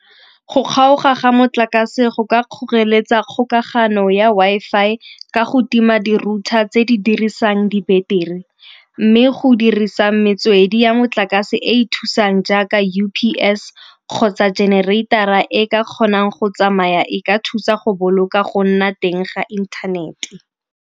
Go kgaoga ga motlakase go ka kgoreletsa kgokagano ya Wi-Fi ka go tima di-router tse di dirisang di-battery. Mme go dirisa metsotso kgwedi ya motlakase e e thusang jaaka U_P_S kgotsa generator-ra e ka kgonang go tsamaya e ka thusa go boloka go nna teng ga inthanete.